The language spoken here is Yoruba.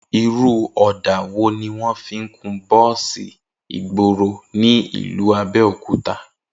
Irú ò̩dà wo ni wó̩n ń kun bó̩ò̩sì ìgboro ní ìlú Abé̩òkúta?